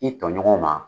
I tɔɲɔgɔnw ma